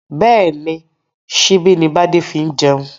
Bẹ́ẹ̀ni, síbi ni bade fi ń jẹun